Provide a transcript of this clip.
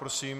Prosím.